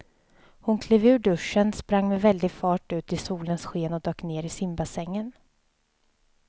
Hon klev ur duschen, sprang med väldig fart ut i solens sken och dök ner i simbassängen.